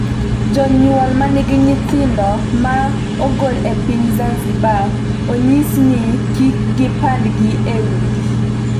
Jonyuol ma nigi nyithindo ma ong'ol e piny Zanzibar onyis ni kik gipandgi e udi